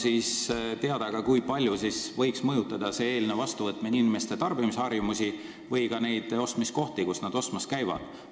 Kas on teada ka, kui palju võiks eelnõu seadusena vastuvõtmine mõjutada inimeste tarbimisharjumusi, sh seda, kust nad ostmas käivad.